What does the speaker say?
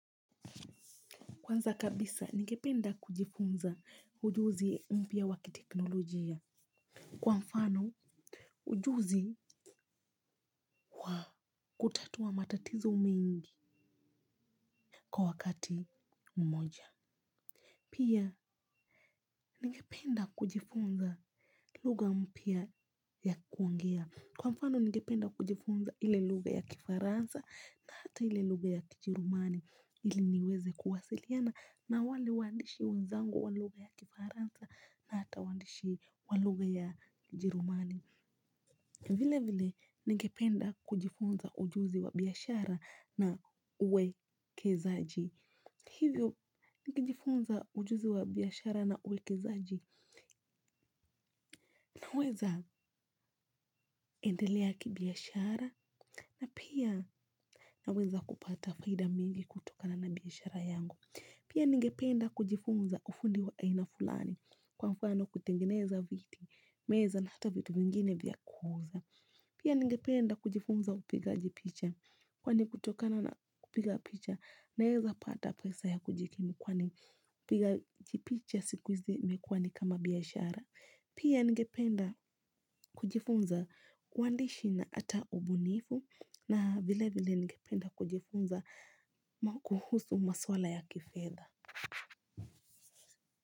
Kwanza kabisa, ningependa kujifunza ujuzi mpya wa kiteknolojia. Kwa mfano, ujuzi wa kutatua matatizo mengi kwa wakati mmoja. Pia, ningependa kujifunza lugha mpya ya kuongea. Kwa mfano, ningependa kujifunza ile lugha ya kifaransa na hata ile lugha ya kijerumani ili niweze kuwasiliana. Na wale waandishi wenzangu wa lugha ya kifaransa na hata waandishi walugha ya jerumani vile vile ningependa kujifunza ujuzi wa biashara na uwekezaji. Hivyo nikijifunza ujuzi wa biashara na uwekezaji naweza endelea kibiashara na pia naweza kupata faida mingi kutokana na biashara yangu. Pia ningependa kujifunza ufundi wa aina fulani. Kwa mfano kutengeneza viti, meza na hata vitu vingine vya kuuza. Pia ningependa kujifunza upigaji picha. Kwani kutokana na kupiga picha, naeza pata pesa ya kujikimu. Kwani upigaji picha siku hizi imekua ni kama biashara. Pia ningependa kujifunza uandishi na ata ubunifu. Na vile vile ningependa kujifunza kuhusu maswala ya kifedha.